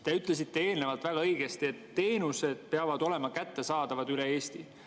Te ütlesite eelnevalt väga õigesti, et teenused peavad olema kättesaadavad üle Eesti.